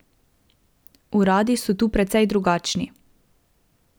Uradi so tu precej drugačni.